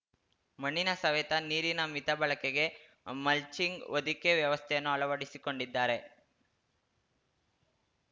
ಮಣ್ಣಿನ ಸವೆತ ನೀರಿನ ಮಿತ ಬಳಕೆಗೆ ಮಲ್ಚಿಂಗ್‌ಹೊದಿಕೆ ವ್ಯವಸ್ಥೆಯನ್ನು ಅಳವಡಿಸಿಕೊಂಡಿದ್ದಾರೆ